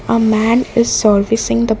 a man is servicing the bi--